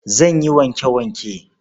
Zan yi wanke-wanke.